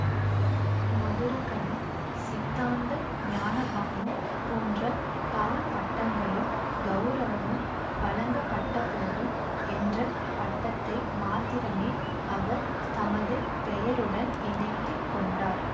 மதுரகவி சித்தாந்த ஞானபானு போன்ற பல பட்டங்களும் கௌரவமும் வழங்கப்பட்டபோதும் என்ற பட்டத்தை மாத்திரமே அவர் தமது பெயருடன் இணைத்து கொண்டார்